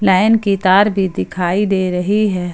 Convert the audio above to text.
Line की तार भी दिखाई दे रही है।